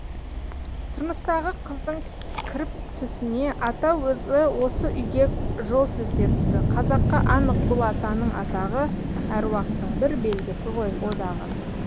тұрмыстағы қыздың кіріп түсіне ата өзі осы үйге жол сілтепті қазаққа анық бұл атаның атағы әруақтың бір белгісі ғой о дағы